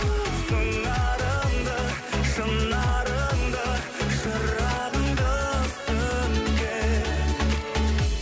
сыңарыңды шынарыңды шырағыңды сөнген